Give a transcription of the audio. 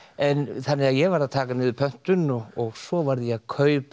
þannig að ég varð að taka niður pöntun og svo var ég að kaupa